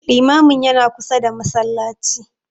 Limamin yana kusa da Masallaci